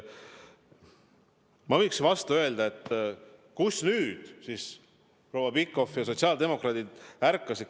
Ma võiksin vastu öelda, et kuidas nüüd siis proua Pikhof ja teised sotsiaaldemokraadid ärkasid.